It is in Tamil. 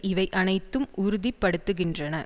இவை அனைத்தும் உறுதி படுத்துகின்றன